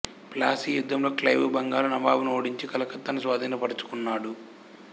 ప్లాసీ యుద్ధంలో క్లైవు బెంగాలు నవాబును ఓడించి కలకత్తాను స్వాధీనపరచుకున్నాడు